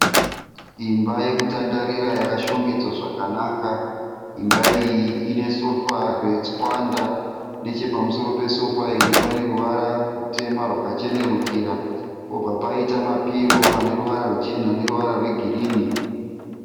Imba yekutandarira yakashongedzwa zvakanaka. Imba iyi ine sofa retswanda nechepamusoro pesofa iri pane pane ruvara rutema rwakachenerukira pobva paita mapiro ane ruvara ruchena neruvara rwegirini.